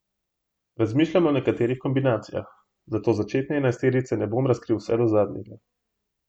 Razmišljam o nekaterih kombinacijah, zato začetne enajsterice ne bom razkril vse zadnjega.